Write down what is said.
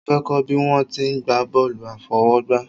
Mo fẹ́ kọ́ bí wọ́n ti ń gba bọ́ọ̀lù àfọwọ́gbá